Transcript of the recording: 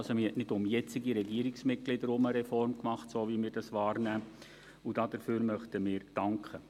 Man hat also nicht um jetzige Regierungsmitglieder herum eine Reform gemacht – so, wie wir das wahrnehmen –, und dafür möchten wir danken.